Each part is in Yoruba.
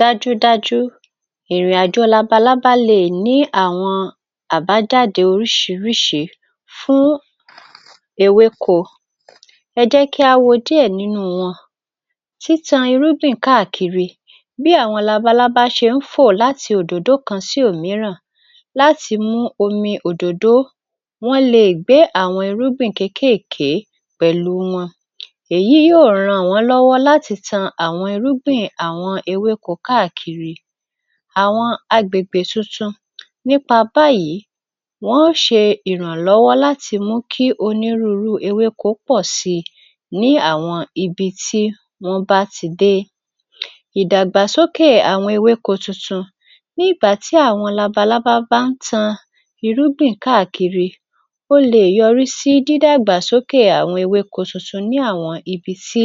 Dájúdájú ìrìnàjò labalábá lè ní àwọn àbájáde oríṣìíríṣìí fún ewéko. Ẹ jẹ́ kí á wo díẹ̀ nínú wọn: Títan irúgbìn káàkiri: Bí àwọn labalábá ṣe ń fò láti òdòdó kan sí omíràn láti mú omi òdòdó, wọ́n le è gbá àwọn irúgbìn kékèeké pẹ̀lú wọn, èyí yóò ràn wọ́n lọ́wọ́ láti tan àwọn irúgbìn àwọn ewéko káàkiri àwọn agbègbè tuntun. Nípa báyìí, wọ́n ṣe ìrànlọ́wọ́ láti mú kí onírúnrú ewéko pọ̀ sí i ní àwọn ibi tí wọ́n bá ti dé. Ìdàgbàsókè àwọn ewéko tuntun: Ní ìgbà tí àwọn labalábá bá ń tan irúgbìn káàkiri, ó le è yọrí sí dídàgbàsókè àwọn ewéko tuntun ní àwọn ibi tí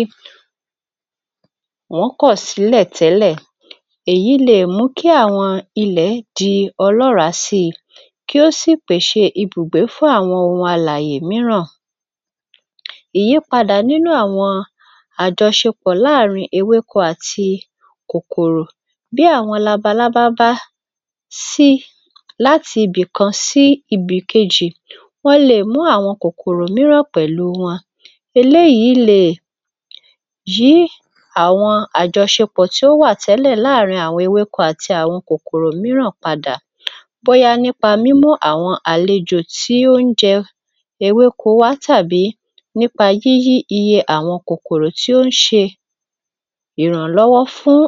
wọ́n kọ̀ sílẹ̀ tẹ́lẹ̀, èyí le è mú kí àwọn ilẹ̀ di ọlọ́ràá sí i kí ó sì pèṣè ibùgbé fún àwọn ohun alàyè mìíràn. Ìyípadà nínú àwọn àjọṣepọ̀ láàárin ewéko àti kòkòrò: Bí àwọn labalábá bá sí láti ibìkan sí ibìkejì, wọ́n le è mú àwọn kòkòrò mìíràn pẹ̀lú wọn. Eléyìí le è jí àwọn àjọṣepọ̀ tí ó wà tẹ́lẹ̀ láàárin àwọn ewéko àti àwọn kòkòrò mìíràn padà, bóyá nípa mímú àwọn àlejò tí ó ń jẹ ewéko wá tàbí nípa yíyí iye àwọn kòkòrò tí ó ń ṣe ìrànlọ́wọ́ fún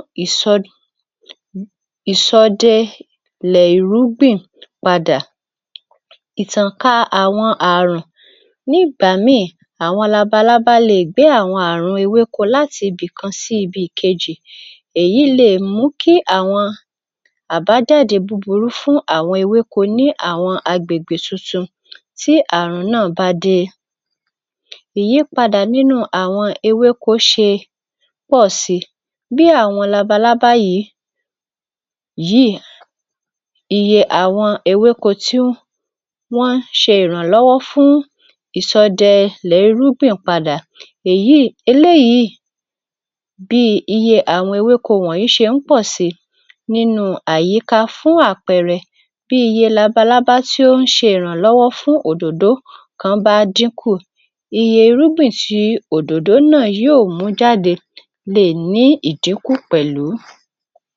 ìsọdelẹ̀ ìrúgbìn padà. Ìtànká àwọn àrùn: Ní ìgbà míì àwọn labalábá le è gbé àwọn àrùn ewéko láti ibìkan sí ìbìkejì. Èyí le è mú kí àwọn àbájáde búburú fún àwọn ewéko ní àwọn agbègbè tuntun tí àrùn náà bá dé. Ìyípadà nínú àwọn ewéko ṣe pọ̀ síi: Bí àwọn labalábá yìí, yíì, iye àwọn ewéko tí wọ́n ń ṣe ìrànlọ́wọ́ fún ìsọdẹlẹ̀rúgbìn padà.Èyí, eléyìí bí iye àwọn ewéko wọ̀nyí ṣe ń pọ̀ síi nínú àyíká. Fún àpẹẹrẹ, bí iye labalábá tí ó ń ṣe ìrànlọ́wọ́ fún òdòdó kan bá dínkù, iye irúgbìn tí òdòdó náà yóò mú jáde lè ní ìdínkù pẹ̀lú.